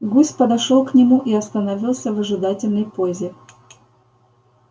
гусь подошёл к нему и остановился в ожидательной позе